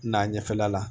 N'a ɲɛfɛla la